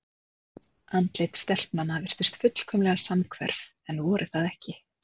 Andlit stelpnanna virtust fullkomlega samhverf en voru það ekki.